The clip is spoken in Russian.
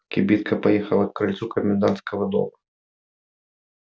кибитка поехала к крыльцу комендантского дома